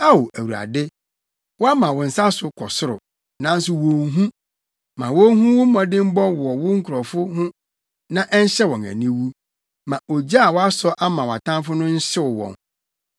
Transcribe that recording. Ao Awurade, wɔama wo nsa so kɔ soro, nanso wonhu. Ma wonhu wo mmɔdemmɔ wɔ wo nkurɔfo ho na ɛnhyɛ wɔn aniwu; ma ogya a wɔasɔ ama wʼatamfo no nhyew wɔn.